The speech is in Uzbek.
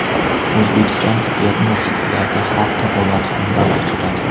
O‘zbekiston tibbiyot muassasalarida xalq tabobati xonalari ochiladi.